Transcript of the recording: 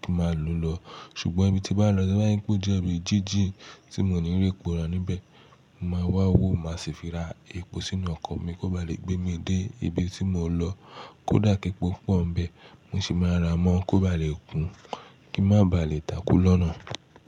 kí ma lọ lọ. Ṣùgbọ́n bí mo bá lọ bá yí pé ó jẹ́ ibi jíjìn tí mo ní réèpo ra níbẹ̀, mo máa wá wò, máa sì fi ra epo sínú ọkọ̀ mi kó ba lè gbé mi dé ibi tí mo ń lọ. Kódà kékọ̀ọ́ pọ̀ níbẹ̀, mo sì máa ra mọ́ kó ba lè kún, kí n má ba à lè takú lọ́nà.